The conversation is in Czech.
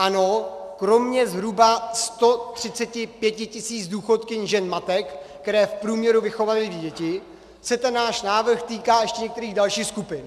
Ano, kromě zhruba 135 tisíc důchodkyň žen matek, které v průměru vychovaly dvě děti, se ten náš návrh týká ještě některých dalších skupin.